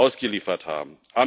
ausgeliefert haben.